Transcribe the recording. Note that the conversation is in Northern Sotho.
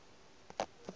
di a hwetšwa go ka